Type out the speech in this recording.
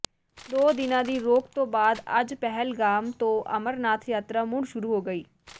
ਦੋ ਦਿਨਾ ਦੀ ਰੋਕ ਤੋਂ ਬਾਅਦ ਅੱਜ ਪਹਿਲਗਾਮ ਤੋਂ ਅਮਰਨਾਥ ਯਾਤਰਾ ਮੁੜ ਸ਼ੁਰੂ ਹੋ ਗਈ